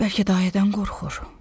Bəlkə dayədən qorxur?